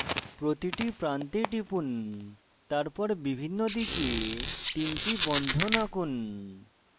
প্রতিটি প্রান্তে টিপুন তারপর বিভিন্ন দিকে তিনটি বন্ধন আঁকুন